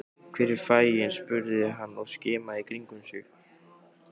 Hvar er fanginn? spurði hann og skimaði í kringum sig.